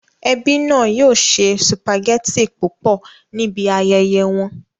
Ẹbí náà yóò se sùpàgẹ́tì púpọ̀ níbi ayẹyẹ wọn